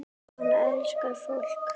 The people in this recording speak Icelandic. Hann elskar fólk.